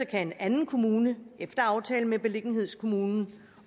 kan en anden kommune efter aftale med beliggenhedskommunen